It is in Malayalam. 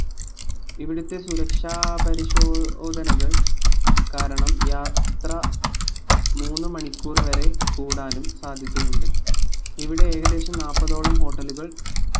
ഇവിടുത്തെ സുരക്ഷാ പരിശോധനകൾ കാരണം യാത്ര മൂന്ന് മണിക്കൂർ വരെ കൂടാനും സാധ്യതയുണ്ട് ഇവിടെ ഏകദേശം നാൽപ്പതോളം hotel കൾ